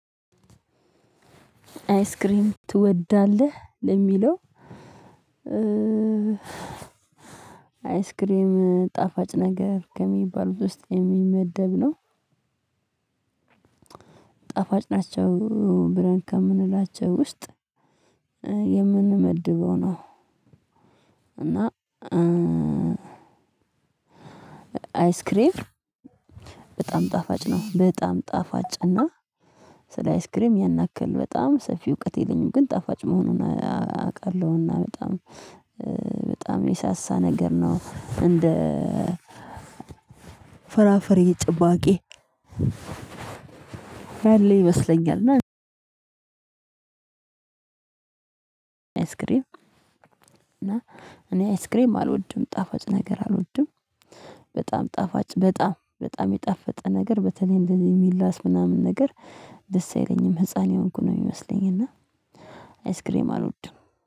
አይስሪም ትወዳለህ? ለሚለው አይስክሬም ጣፋጭ ነገር ከሚባሉት ውስጥ የሚመደብ ነው። ጣፋጭ ናቸው ብለን ከምንላቸው ውስጥ ነው። እና አይስክሬም በጣም ጣፋጭ ነው። በጣም ጣፋጭ እና ስለ አይስክሬም ያን ያክል በጣም ሰፊ እውቀት የለኝም። ግን ጣፋጭ መሆኑን አውቃለሁና በጣም በጣም የሳሳ ነገር ነው። እንደ ፍራፈሬ ጭማቂ ያለው ይመስለኛል። እና አይስክሬም እና እኔ አይስክሬም አልወድም ጣፋጭ ነገር አልወድም። በጣም ጣፋጭ በጣም በጣም የጣፈጠ ነገር በተለይ እንደዚህ የሚላስ ምናምን ነገር ደስ አይለኝም። ህፃን የሆንኩ ነው የሚመስለኝ እና አይስክሬም አልወድም